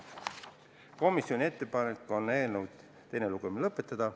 Komisjoni ettepanek on eelnõu teine lugemine lõpetada.